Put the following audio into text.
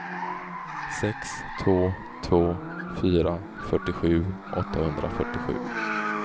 sex två två fyra fyrtiosju åttahundrafyrtiosju